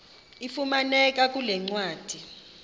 ifumaneka kule ncwadi